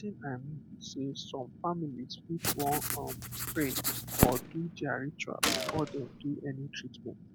wetin i mean be sey some families fit wan um pray or do their ritual before dem do any treatment